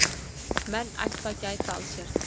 Menn ættu að gæta að sér.